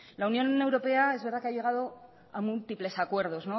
la unión europea es verdad que ha llegado a múltiples acuerdos